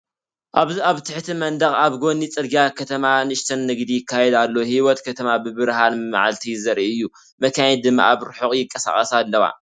ኣብዚ ኣብ ትሕቲ መንደቕ ኣብ ጎኒ ጽርግያ ከተማ ንእሽቶ ንግዲ ይካየድ ኣሎ፤ ህይወት ከተማ ብብርሃን መዓልቲ ዘርኢ እዩ። መካይን ድማ ኣብ ርሑቕ ይንቀሳቐሳ ኣለዋ።